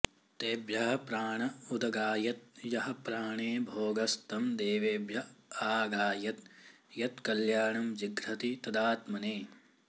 तेभ्यः प्राण उदगायद् यः प्राणे भोगस्तं देवेभ्य आगायद् यत्कल्याणं जिघ्रति तदात्मने